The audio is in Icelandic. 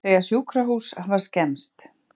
Segja sjúkrahús hafa skemmst